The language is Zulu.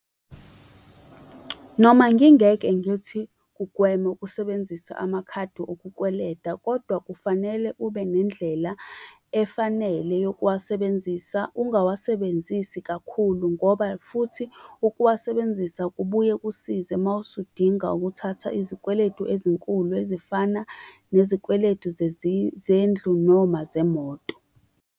Noma ngingeke ngithi kugweme ukusebenzisa amakhadi okukweleda, kodwa kufanele ube nendlela efanele yokuwasebenzisa. Ungawasebenzisi kakhulu ngoba futhi ukuwasebenzisa kubuye kusize uma usudinga ukuthatha izikweletu ezinkulu ezifana nezikweletu zendlu noma zemoto.